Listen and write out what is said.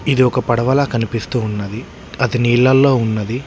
ఇది ఒక పడవల కనిపిస్తూ ఉన్నది అది నీళల్లో ఉన్నది.